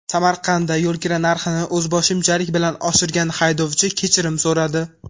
Samarqandda yo‘lkira narxini o‘zboshimchalik bilan oshirgan haydovchi kechirim so‘radi.